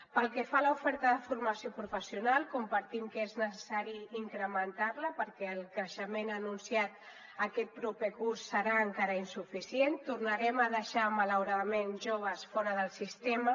pel que fa a l’oferta de formació professional compartim que és necessari incrementar la perquè el creixement anunciat aquest proper curs serà encara insuficient tornarem a deixar malauradament joves fora del sistema